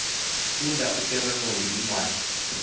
funda uteronomi incwadi